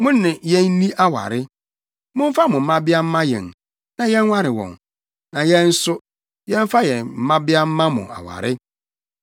Mo ne yenni aware. Momfa mo mmabea mma yɛn, na yɛnware wɔn, na yɛn nso, yɛmfa yɛn mmabea mma mo aware.